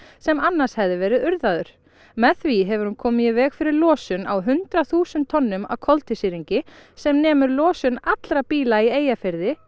sem annars hefði verið urðaður með því hefur hún komið í veg fyrir losun á hundrað þúsund tonnum af koltvísýringi sem nemur losun allra bíla í Eyjafirði